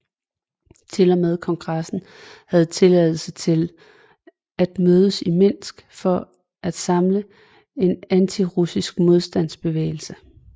Til og med kongressen havde tilladelse til at mødes i Minsk for at samle en antirussisk modstandsbevægelse